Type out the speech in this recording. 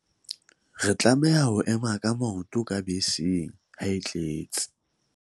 re tlameha ho ema ka maoto ka beseng ha e tletse